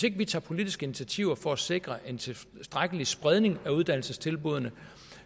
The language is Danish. ikke tager politiske initiativer for at sikre en tilstrækkelig spredning af uddannelsestilbuddene